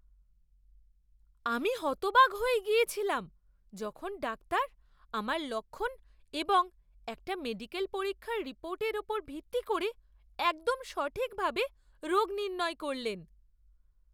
আমি হতবাক হয়ে গিয়েছিলাম যখন ডাক্তার আমার লক্ষণ এবং একটা মেডিকেল পরীক্ষার রিপোর্টের উপর ভিত্তি করে একদম সঠিকভাবে রোগ নির্ণয় করলেন!